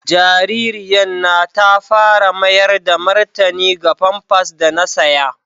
Jaririyan na ta fara mayar da martani ga pampas da na saƴa.